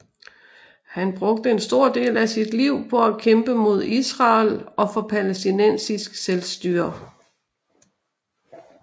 Han brugte en stor del af sit liv på at kæmpe mod Israel og for palæstinensisk selvstyre